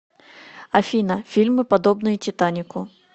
афина фильмы подобные титанику